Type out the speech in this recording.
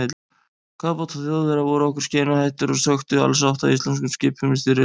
Kafbátar Þjóðverja voru okkur skeinuhættir og þeir sökktu alls átta íslenskum skipum í styrjöldinni.